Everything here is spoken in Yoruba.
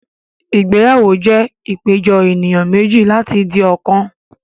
Ìgbéyàwó jẹ́ ìpéjọ ènìyàn méjì láti di ọ̀kan